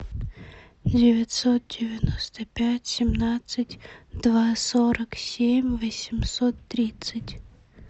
девятьсот девяносто пять семнадцать два сорок семь восемьсот тридцать